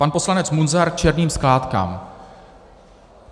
Pan poslanec Munzar k černým skládkám.